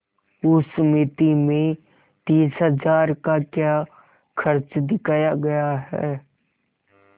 उस मिती में तीस हजार का क्या खर्च दिखाया गया है